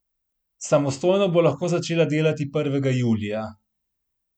Samostojno bo lahko začela delati prvega julija.